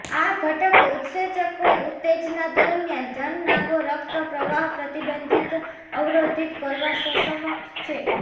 આ ઘટક ઉત્સેચકો ઉત્તેજના દરમિયાન જનનાંગો રક્ત પ્રવાહ પ્રતિબંધિત અવરોધિત કરવા સક્ષમ છે